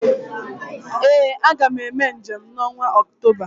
ee Aga m eme njem n’ọnwa Ọktoba